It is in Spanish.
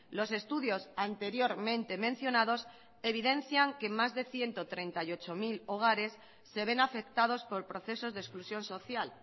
los estudios anteriormente mencionados evidencian que más de ciento treinta y ocho mil hogares se ven afectados por procesos de exclusión social